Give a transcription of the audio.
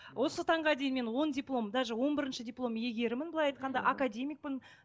осы таңғы дейін мен он диплом даже он бірінші диплом иегерімін былай айтқанда академикпін